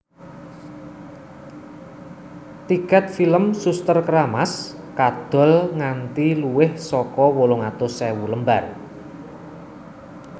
Tiket film Suster Keramas kadol nganti luwih saka wolung atus ewu lembar